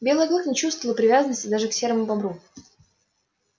белый клык не чувствовал привязанности даже к серому бобру